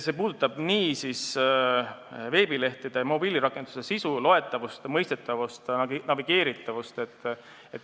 See puudutab veebilehtede ja mobiilirakenduste sisu, loetavust, mõistetavust, navigeeritavust.